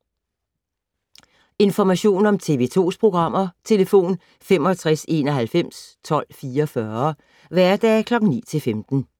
Information om TV 2's programmer: 65 91 12 44, hverdage 9-15.